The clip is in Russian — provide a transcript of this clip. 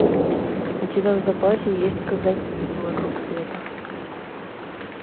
у тебя в запасе есть казаки вокруг света